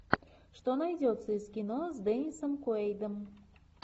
что найдется из кино с деннисом куэйдом